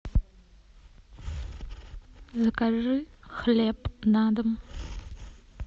закажи хлеб на дом